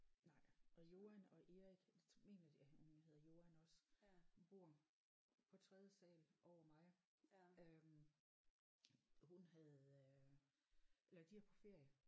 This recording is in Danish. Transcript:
Nej og Joan og Erik det tror mener jeg at hun hedder Joan også hun bor på tredje sal over mig øh hun havde øh eller de er på ferie